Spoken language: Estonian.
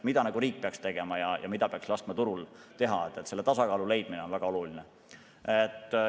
Mida riik peaks tegema ja mida peaks laskma turul teha – selle tasakaalu leidmine on väga oluline.